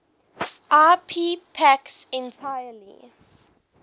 ip packets entirely